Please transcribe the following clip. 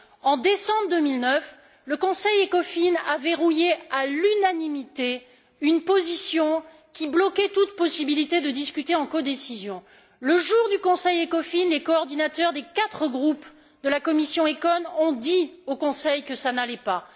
En décembre 2009, le Conseil Ecofin a verrouillé, à l'unanimité, une position qui bloquait toute possibilité de discuter en codécision. Le jour du Conseil Ecofin, les coordinateurs des quatre groupes de la commission ECON ont dit au Conseil que ça n'allait pas.